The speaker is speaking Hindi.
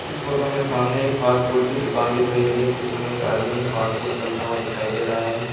इस फोटो में सामने एक फास्ट फूड की दुकान दिख रही है जिसमें एक आदमी फास्ट फूड तलता हुआ दिखाई दे रहा है।